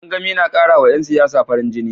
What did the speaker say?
Gangamin na karawa 'yan siyasa farin jini